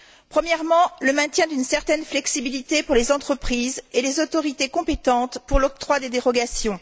Premièrement, le maintien d'une certaine flexibilité pour les entreprises et les autorités compétentes pour l'octroi des dérogations.